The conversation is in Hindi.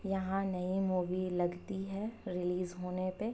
यहाँ नई मूवी लगती है रिलीज होने पे।